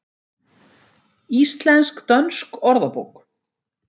Íslensk-dönsk orðabók.